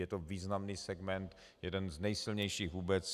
Je to významný segment, jeden z nejsilnějších vůbec.